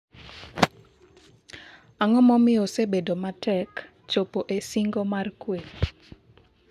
ang'o momiyo osebedo matek chopo e singo mr kwe?